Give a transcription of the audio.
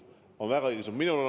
See on väga õige suund!